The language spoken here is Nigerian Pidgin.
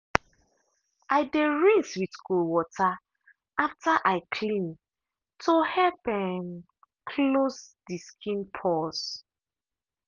i dey rinse with cold water after i clean to help um close the skin pores.